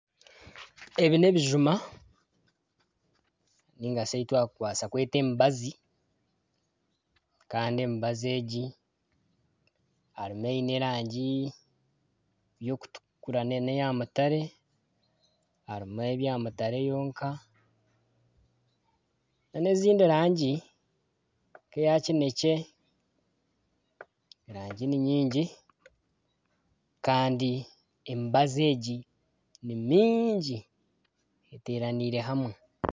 Ebi n'ebijuma nari ebi twakubaasa kweta emibazi kandi emibazi egi harimu eine erangi y'okutukura nana eya mutare harimu eri eya mutare yonka nana ezindi rangi nk'eya kineekye erangi ni nyingi erangi na nyingi kandi emibazi ni mingi etaraniire hamwe